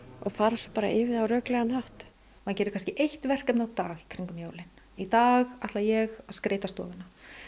og fara svo bara yfir það á röklegan hátt maður gerir kannski eitt verkefni á dag í dag ætla ég að skreyta stofuna